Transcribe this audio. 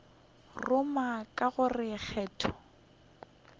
ruma ka go re kgetho